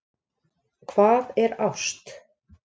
Hvað er ást